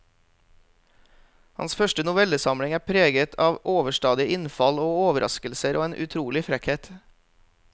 Hans første novellesamling er preget av overstadig innfall og overraskelser og en utrolig frekkhet.